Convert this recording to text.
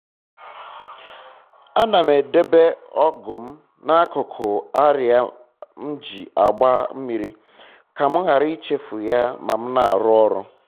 ana m edobe ọgụ m na-akụkụ arịa m ji agba mmiri ka m ghara ichefu ya ma m na-arụ ọrụ